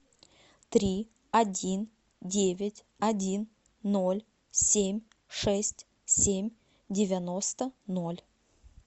три один девять один ноль семь шесть семь девяносто ноль